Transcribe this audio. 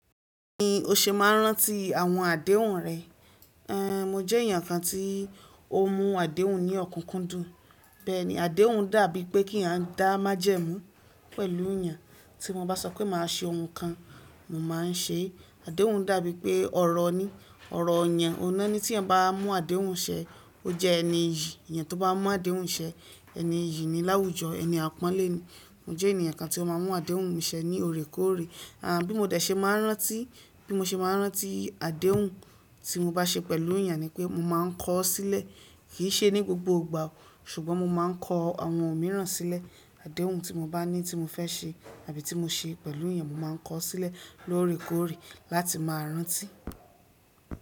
Bí mo ṣe máa ń rántí àwọn àdéhùn rẹ̀, ẹn, mo jẹ́ èèyàn kan tí ó mú àdéhùn ní ọ̀kúkúndùn. Bẹ́ẹ̀ ni, àdéhùn dàbí pé kí à ń dá májẹ̀mú pẹ̀lú èèyàn. Tí mo bá sọ pé màá ṣe ohun kan, mo má a ń ṣe é. Àdéhùn dàbí pé ọ̀rọ̀ ni, ọ̀rọ̀ èèyàn. Òhun ná ni tí ẹeyan bá mú àdéhùn ṣẹ, ó jẹ́ ẹni iyì. Èèyàn tó bá mú àdéhùn ṣẹ, ẹni iyì ni láwùjọ, ẹni àpọ́nlé ni. Mo jẹ́ ènìyàn kan tí ó má a ń mú àdéhùn mi ṣẹ ní òorékòóre. Àn, bí mo de ṣe máa ń rántí, bí mo ṣe máa ń rántí àdéhùn tí mo bá ṣe pẹ̀lú èèyàn ni pé mo má a ń kọ ọ́ sílẹ̀. Kì í ṣe ní gbogbo ìgbà o, ṣùgbọ́n mo má a ń kọ àwọn òmíràn sílẹ̀. Àdéhùn tí mo bá ní tí mo fẹ́ ṣe àbí tí mo ṣe pẹ̀lú èèyàn, mo má a ń kọ ọ́ sílẹ̀ loórekòóre láti máa rántí.